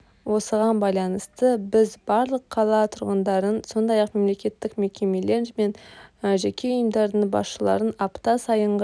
осыған байланысты біз барлық қала тұрғындарын сондай-ақ мемлекеттік мекемелер мен жеке ұйымдардың басшыларын апта сайынғы